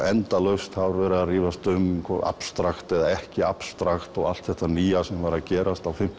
endalaust það verið að rífast um abstrakt eða ekki abstrakt allt þetta nýja sem var að gerast á